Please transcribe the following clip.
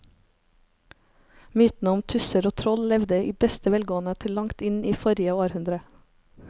Mytene om tusser og troll levde i beste velgående til langt inn i forrige århundre.